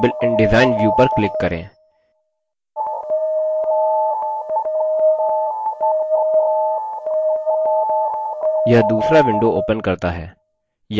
दायीं ओर पर tasks सूची में create table in design view पर click करें यह दूसरा window opens करता है